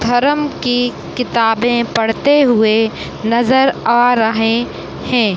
धरम की किताबे पढ़ते हुए नज़र आ रहे हैं।